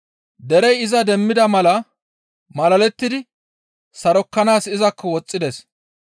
Derey iza demmida mala malalettidi sarokkanaas izakko woxxides.